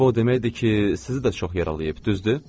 Bu o deməkdir ki, sizi də çox yaralayıb, düzdür?